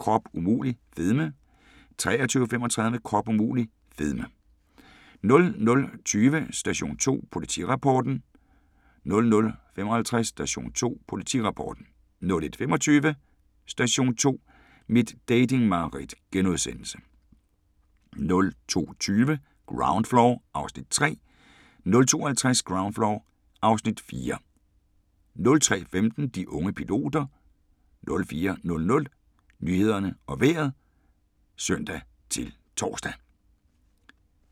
22:45: Krop umulig – fedme 23:35: Krop umulig – fedme 00:20: Station 2: Politirapporten 00:55: Station 2: Politirapporten 01:25: Station 2: Mit dating-mareridt * 02:20: Ground Floor (Afs. 3) 02:50: Ground Floor (Afs. 4) 03:15: De unge piloter 04:00: Nyhederne og Vejret (søn-tor)